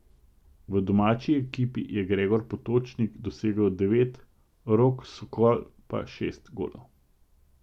V domači ekipi je Gregor Potočnik dosegel devet, Rok Skol pa šest golov.